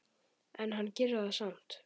En hann gerir það samt.